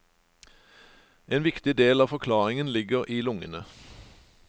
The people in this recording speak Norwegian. En viktig del av forklaringen ligger i lungene.